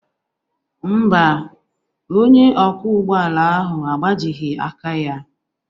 Mba, onye ọkwọ ụgbọ ala ahụ agbajighị aka ya